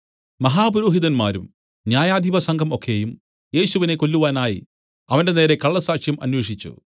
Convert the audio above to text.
മഹാപുരോഹിതന്മാരും ന്യായാധിപസംഘം ഒക്കെയും യേശുവിനെ കൊല്ലുവാനായി അവന്റെനേരെ കള്ളസാക്ഷ്യം അന്വേഷിച്ചു